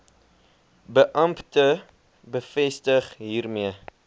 beampte bevestig hiermee